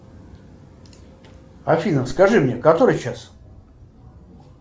афина скажи мне который час